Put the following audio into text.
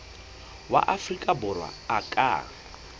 wa afrika borwa a ka